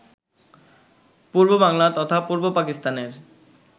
পূর্ব বাংলার তথা পূর্ব পাকিস্তানের